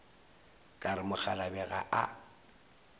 ka re mokgalabje ga a